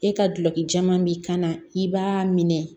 E ka gulɔki caman b'i kan na i b'a minɛ